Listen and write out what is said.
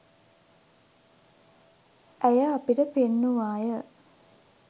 ඇය අපිට පෙන්නුවාය.